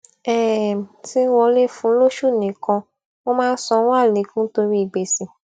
um tí ń wọlé fún lóṣù nìkan ó máa ń sanwó àlékún torí gbèsè